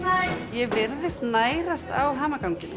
ég virðist nærast á hamaganginum